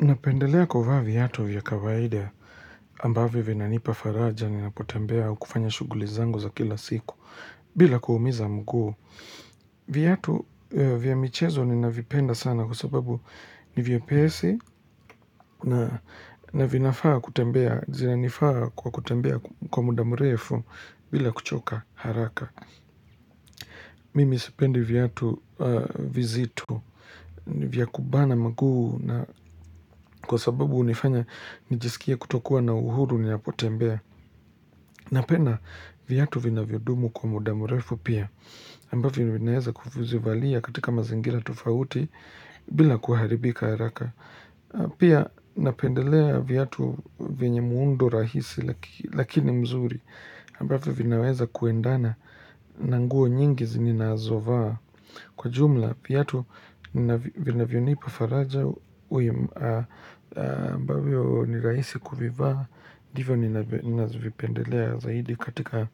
Napendelea kuvaa viatu vya kawaida ambavi vinanipa faraja ni napotembea kufanya shuguli zango za kila siku bila kuhumiza mguu Viatu vya michezo ni navipenda sana kwa sababu ni vyepesi na vinafaa kutembea zinanifaa kwa kutembea kwa muda mrefu bila kuchoka haraka Mimi sipendi viatu vya vizito vya kubana maguu na kwa sababu unifanya nijisikia kutokuwa na uhuru niyapote mbea Napenda viatu vinavyodumu kwa muda morefu pia Ambavyovinaweza kufuzivalia katika mazingira tufauti bila kuharibika haraka Pia napendelea viatu vyenye muundo rahisi lakini mzuri Ambafu vinaweza kuendana na nguo nyingi zininaazovaa Kwa jumla, viyatu, nina vionipu faraja uimbaweo niraisi kuvivaa, diva nina vipendelea zaidi katika